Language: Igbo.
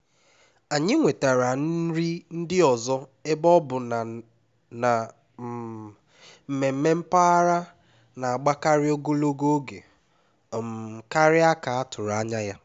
anyị wetara nri ndị ọzọ ebe ọ bụ na na um mmemme mpaghara na-agbakarị ogologo oge um karịa ka a tụrụ anya ya